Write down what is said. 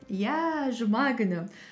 иә жұма күні